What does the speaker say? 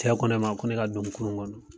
Cɛ ko ne ma , ko ne ka don nin kurun kɔnɔ.